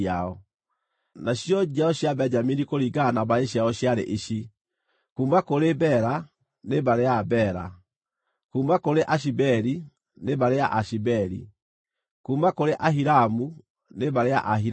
Nacio njiaro cia Benjamini kũringana na mbarĩ ciao ciarĩ ici: kuuma kũrĩ Bela, nĩ mbarĩ ya Abela; kuuma kũrĩ Ashibeli, nĩ mbarĩ ya Aashibeli; kuuma kũrĩ Ahiramu, nĩ mbarĩ ya Aahiramu;